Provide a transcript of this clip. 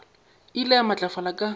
e ile ya matlafala ka